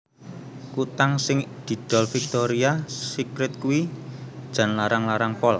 Kutang sing didol Victoria Secret kuwi jan larang larang pol